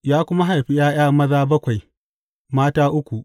Ya kuma haifi ’ya’ya maza bakwai, mata uku.